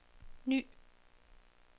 ny